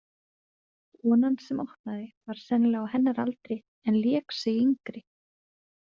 Konan sem opnaði var sennilega á hennar aldri en lék sig yngri.